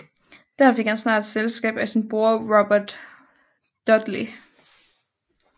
Der fik han snart selskab af sin bror Robert Dudley